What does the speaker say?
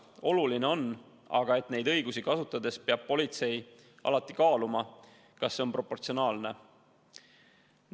Oluline on aga see, et neid õigusi kasutades peab politsei alati kaaluma, kas see on proportsionaalne.